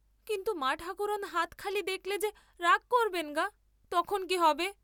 কিন্তু মাঠাকরুণ হাত খালি দেখলে যে রাগ করবেন্ গা, তখন কি হবে?